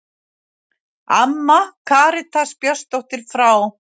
Amman Karitas Björnsdóttir frá